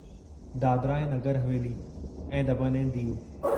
दादरा ऐं नगर हवेली ऐं दमन ऐं दीव